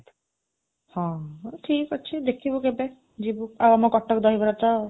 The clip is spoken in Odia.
ହଁ, ଠିକ୍ ଅଛି, ଦେଖିବୁ କେବେ, ଯିବୁ। ଆଉ ଆମ କଟକ ଦହିବରା ତ